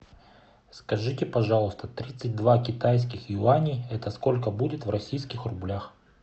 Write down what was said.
скажите пожалуйста тридцать два китайских юаней это сколько будет в российских рублях